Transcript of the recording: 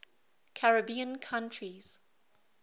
caribbean countries